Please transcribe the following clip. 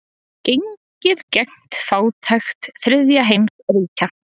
Gengið gegn fátækt þriðja heims ríkja.